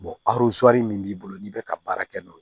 min b'i bolo n'i bɛ ka baara kɛ n'o ye